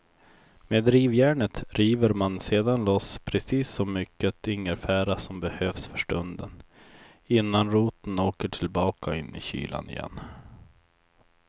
Med rivjärnet river man sedan loss precis så mycket ingefära som behövs för stunden innan roten åker tillbaka in i kylan igen.